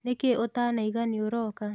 Nĩkĩĩ ũtanoiga nĩũroka?